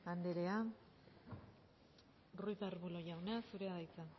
anderea ruiz de arbulo jauna zurea da hitza